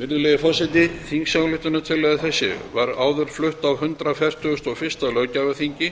virðulegi forseti þingsályktunartillaga þessi var áður flutt á hundrað fertugasta og fyrsta löggjafarþingi